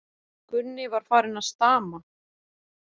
Gunni var farinn að stama.